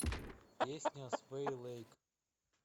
песня о свэй лэйк